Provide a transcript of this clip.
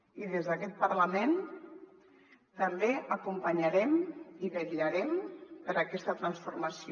i des d’aquest parlament també acompanyarem i vetllarem per aquesta transformació